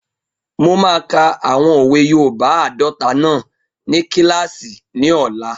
Mo máa ka àwọn òwe yoòbá àádọta náà ní kílàsì ní ọ̀la